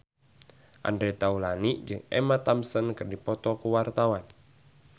Andre Taulany jeung Emma Thompson keur dipoto ku wartawan